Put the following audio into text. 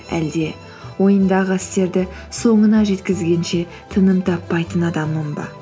әлде ойындағы істерді соңына жеткізгенше тыным таппайтын адаммын ба